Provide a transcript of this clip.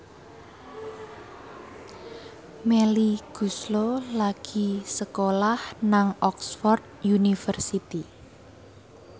Melly Goeslaw lagi sekolah nang Oxford university